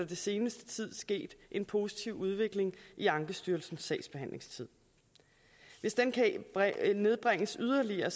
den seneste tid sket en positiv udvikling i ankestyrelsens sagsbehandlingstid hvis den kan nedbringes yderligere